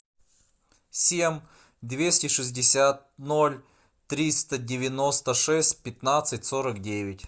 семь двести шестьдесят ноль триста девяносто шесть пятнадцать сорок девять